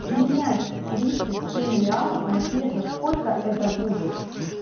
менять тридцать семь реалов на песо сколько это будет